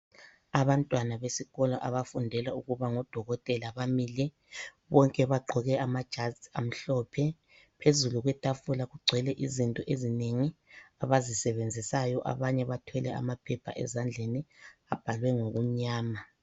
Abantwana besikolo abafundela ukuba ngodokotela bamile. Bonke bagqoke amajazi amhlophe. Phezulu kwetafula kugcwele izinto ezinengi abazisebenzisayo. Abanye bathwele amaphepha ezandleni abhalwe ngokumnyama.